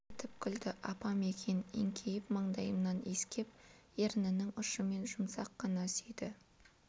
мырс етіп күлді апам екен еңкейіп маңдайымнан иіскеп ернінің ұшымен жұмсақ қана сүйді